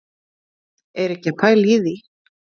Er ekki að pæla í því,